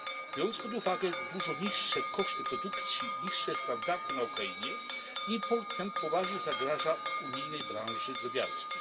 Biorąc pod uwagę dużo niższe koszty produkcji, niższe standardy na Ukrainie, import ten poważnie zagraża unijnej branży drobiarskiej.